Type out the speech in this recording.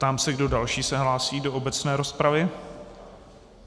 Ptám se, kdo další se hlásí do obecné rozpravy.